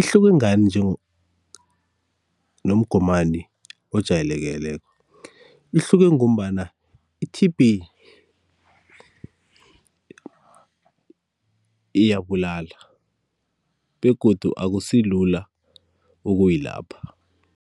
Ihluke ngani nomgomani ojayelekeleko? Ihluke ngombana i-T_B iyabulala begodu akusilula ukuyilapha.